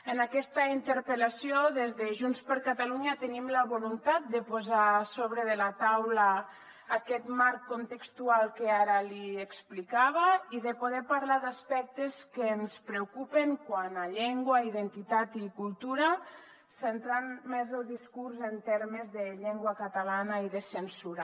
en aquesta interpel·lació des de junts per catalunya tenim la voluntat de posar a sobre de la taula aquest marc contextual que ara li explicava i de poder parlar d’aspectes que ens preocupen quant a llengua identitat i cultura centrant més el discurs en termes de llengua catalana i de censura